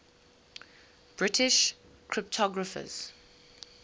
british cryptographers